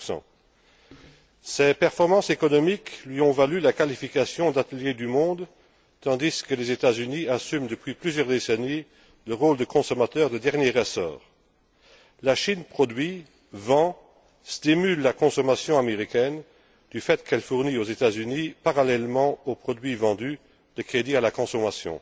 15 Ses performances économiques lui ont valu le qualificatif d'atelier du monde, tandis que les États Unis assument, depuis plusieurs décennies, le rôle de consommateur de dernier ressort. La Chine produit et vend, stimulant la consommation américaine du fait qu'elle fournit aux États Unis, parallèlement aux produits vendus, des crédits à la consommation.